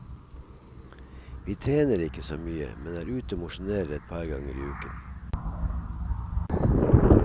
Vi trener ikke så mye, men er ute og mosjonerer et par ganger i uken.